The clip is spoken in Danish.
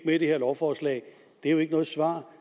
med i det her lovforslag det er jo ikke noget svar